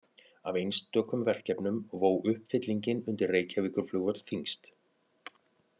Af einstökum verkefnum vó uppfyllingin undir Reykjavíkurflugvöll þyngst.